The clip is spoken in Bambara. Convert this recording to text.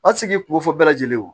A ti se k'i kunko fɔ bɛɛ lajɛlen wo